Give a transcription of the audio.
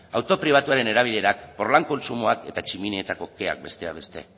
auto pribatuaren erabilerak kontsumoak eta tximinietako keak besteak beste